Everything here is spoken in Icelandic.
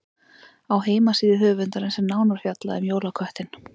Á heimasíðu höfundarins er nánar fjallað um jólaköttinn.